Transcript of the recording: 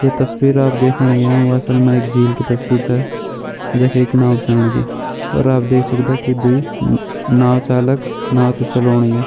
ये तस्वीर आप देखण लग्यां व अशल मा एक झील की तस्वीर छ जख एक नाव चलण लगीं और आप देख सकदा दुई न-न-नाव चालक नाव त चलोण लग्यां।